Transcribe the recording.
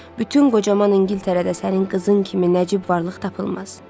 Bütün qocaman İngiltərədə sənin qızın kimi nəcib varlıq tapılmaz.